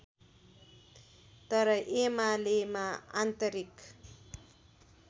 तर एमालेमा आन्तरिक